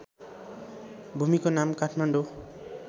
भूमिको नाम काठमाडौँ